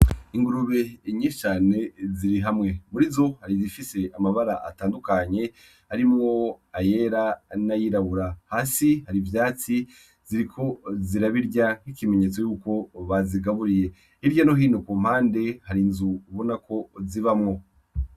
Ingurube nyinshi ziri hamwe, murizo hari izifise amabara atandukanye arimwo ayera n'ayirabura, hasi hari ivyatsi ziriko zirabirya nk'ikimenyetso ko bazigaburiye hirya no hino kumpande hari inzu ubonako zibamwo.